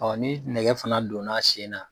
ni nɛgɛ fana donna a sen na.